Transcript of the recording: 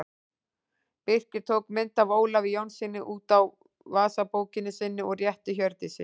Birkir tók mynd af Ólafi Jónssyni út úr vasabókinni sinni og rétti Hjördísi.